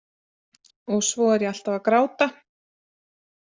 Og svo er ég alltaf að gráta.